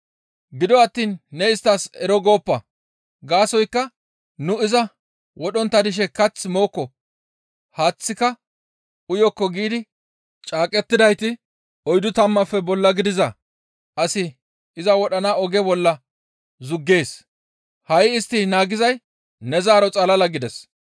Gido attiin ne isttas ero gooppa; gaasoykka, ‹Nu iza wodhontta dishe kath mookko; haaththika uyokko› giidi caaqettidayti oyddu tammaafe bolla gidiza asi iza wodhanaas oge bolla zuggees; ha7i istti naagizay ne zaaro xalala» gides.